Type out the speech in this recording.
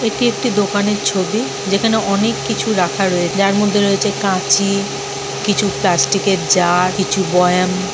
এটি একটি দোকানের ছবি যেখানে অনেক কিছু রাখা রয়েছে যার মধ্যে রয়েছে কাঁচি কিছু প্লাস্টিকের জার কিছু বয়াম।